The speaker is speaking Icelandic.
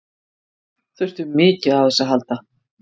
Þurftum mikið á þessu að halda.